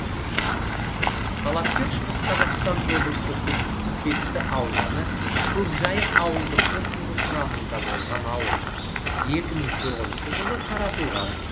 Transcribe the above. талапкер шығыс қазақстан облысы көкпекті ауданы көкжайық ауылдық округі құрамында болған ауыл екі мың тоғызыншы жылы таратылған